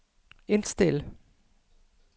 indstil